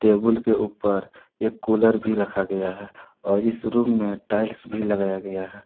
Table के ऊपर एक कुलर भी रखा गया है और इस रूम में टाइल्स भी लगाया गया है।